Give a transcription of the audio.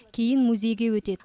кейін музейге өтеді